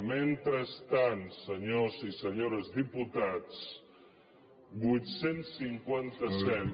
mentrestant senyors i senyores diputats vuit cents i cinquanta set